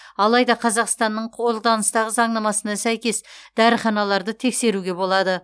алайда қазақстанның қолданыстағы заңнамасына сәйкес дәріханаларды тексеруге болады